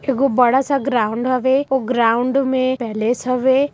एगो बड़ा सा ग्राउन्ड हवे वो ग्राउन्ड में पैलेस हवे।